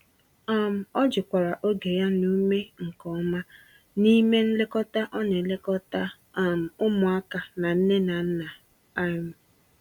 um Ọ jikwara oge ya na ume nke ọma, n'ime nlekọta ọ n'elekota um ụmụaka na nne na nna. um